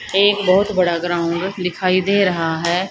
एक बहुत बड़ा ग्राउंड दिखाई दे रहा है।